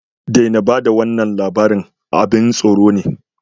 Daina ba da wannan labari, abin tsoro ne